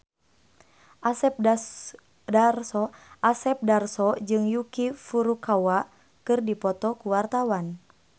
Asep Darso jeung Yuki Furukawa keur dipoto ku wartawan